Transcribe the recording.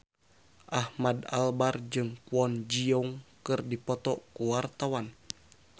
Ahmad Albar jeung Kwon Ji Yong keur dipoto ku wartawan